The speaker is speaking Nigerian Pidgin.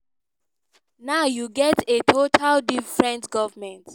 now you get a totally different goment.